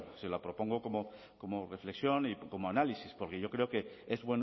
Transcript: se le propongo como reflexión y como análisis porque yo creo que es